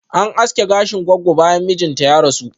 An aske gashin goggo bayan mijinta ya rasu